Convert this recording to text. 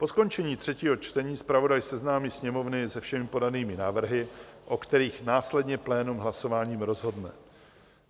Po skončení třetího čtení zpravodaj seznámí Sněmovnu se všemi podanými návrhy, o kterých následně plénum hlasováním rozhodne.